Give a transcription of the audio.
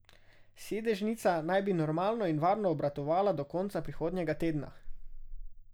Sedežnica naj bi normalno in varno obratovala do konca prihodnjega tedna.